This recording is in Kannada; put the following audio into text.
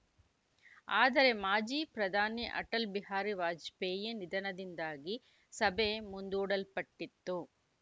ಆದರೆ ಮಾಜಿ ಪ್ರಧಾನಿ ಅಟಲ್‌ ಬಿಹಾರಿ ವಾಜಪೇಯಿ ನಿಧನದಿಂದಾಗಿ ಸಭೆ ಮುಂದೂಡಲ್ಪಟ್ಟಿತ್ತು